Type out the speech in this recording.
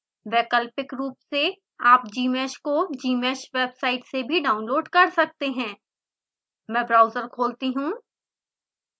वैकल्पिक रूप से आप gmsh को gmsh वेबसाइट से भी डाउनलोड कर सकते हैं मैं ब्राउजर खोलती हूँ